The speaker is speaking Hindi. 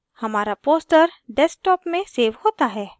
हमारा poster desktop में सेव होता है